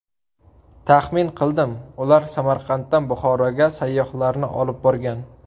Taxmin qildim, ular Samarqanddan Buxoroga sayyohlarni olib borgan.